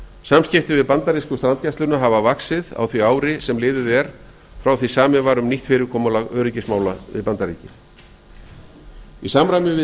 samskipti við bandarísku strandgæsluna afar vaxið á því ári sem liðið er frá því samið var við nýtt fyrirkomulag öryggismála við bandaríkin í samræmi við